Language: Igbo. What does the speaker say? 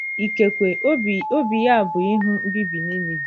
Ikekwe, obi, obi ya bụ ịhụ mbibi Ninive.